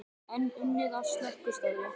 Enn unnið að slökkvistarfi